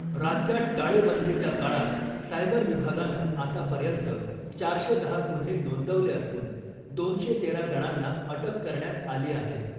राज्यात टाळेबंदीच्या काळात सायबर विभागानं आतापर्यंत चारशे दहा गुन्हे नोंदवले असून दोनशे तेरा जणांना अटक करण्यात आली आहे .